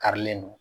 Karilen don